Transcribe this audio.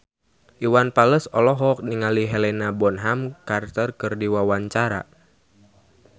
Iwan Fals olohok ningali Helena Bonham Carter keur diwawancara